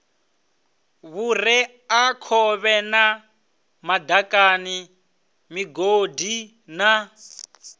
vhureakhovhe na madaka migodi na